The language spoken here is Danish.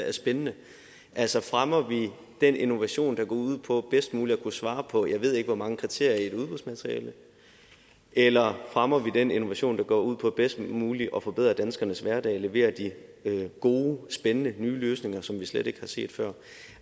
er spændende altså fremmer vi den innovation der går ud på bedst muligt at kunne svare på jeg ved ikke hvor mange kriterier i et udbudsmateriale eller fremmer vi den innovation der går ud på bedst muligt at forbedre danskernes hverdag leverer de gode og spændende nye løsninger som vi slet ikke har set før